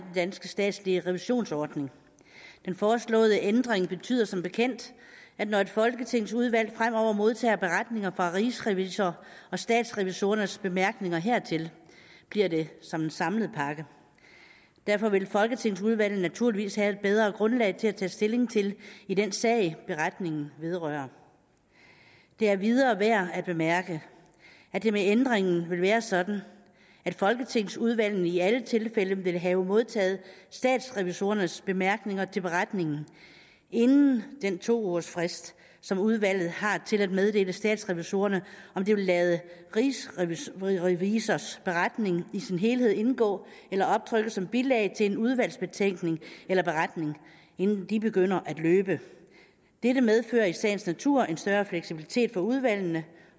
danske statslige revisionsordning den foreslåede ændring betyder som bekendt at når et folketingsudvalg fremover modtager beretninger fra rigsrevisor og statsrevisorernes bemærkninger hertil bliver det som en samlet pakke derfor vil folketingsudvalget naturligvis have et bedre grundlag til at tage stilling i den sag beretningen vedrører det er endvidere værd at bemærke at det med ændringen vil være sådan at folketingsudvalget i alle tilfælde vil have modtaget statsrevisorernes bemærkninger til beretningen inden den to ugers frist som udvalget har til at meddele statsrevisorerne om det vil lade rigsrevisors rigsrevisors beretning i sin helhed indgå eller optrykke som bilag til en udvalgsbetænkning eller beretning inden de begynder at løbe dette medfører i sagens natur en større fleksibilitet for udvalgene